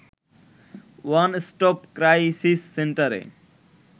one stop crisis সেন্টারে